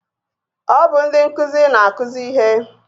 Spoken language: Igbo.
Ọ bụ ndị nkụzi na-akụzi ihe